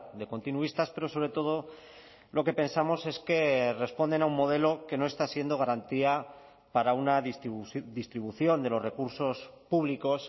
de continuistas pero sobre todo lo que pensamos es que responden a un modelo que no está siendo garantía para una distribución de los recursos públicos